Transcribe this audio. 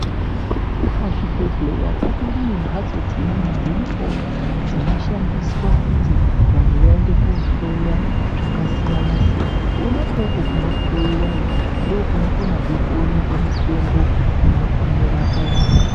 Pazvibhedhleya patori nembatso dzimweniwo dziripowo dzinoshandiswa kuti vanhu vaende koohloya zvakasiyana siyana, kona ikoko kunohloiwayo ndokunokonazve kuona mitombo inorapa vantu.